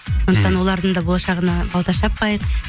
сондықтан олардың да болашағына балта шаппайық